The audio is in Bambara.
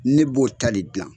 Ne b'o ta de gilan